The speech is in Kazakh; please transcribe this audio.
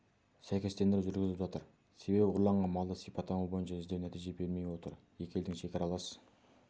сәйкестендіру жүргізіліп жатыр себебі ұрланған малды сипаттама бойынша іздеу нәтиже бермей отыр екі елдің шекаралас